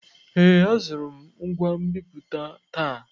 Ee, azụrụ m ngwa nbipute taa.